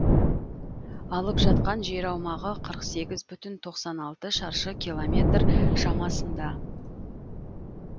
алып жатқан жер аумағы қырық сегіз бүтін тоқсан алты шаршы километр шамасында